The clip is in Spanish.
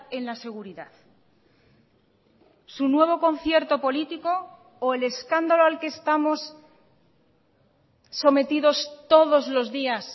en la seguridad su nuevo concierto político o el escándalo al que estamos sometidos todos los días